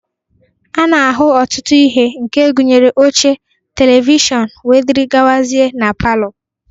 A na-ahụ ọtụtụ ihe, nke gụnyere oche, televishọnụ, wdg, na palọ.